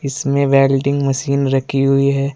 इसमें welding machine रखी हुई है।